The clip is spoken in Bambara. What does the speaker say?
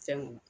Fɛnw